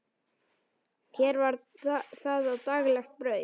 Hér var það daglegt brauð.